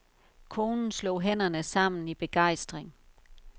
Konen slog hænderne sammen i begejstring.